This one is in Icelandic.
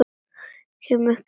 Kem ekki upp hljóði.